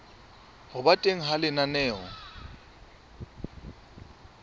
ho ba teng ha lenaneo